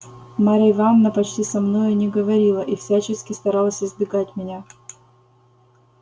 марья ивановна почти со мною не говорила и всячески старалась избегать меня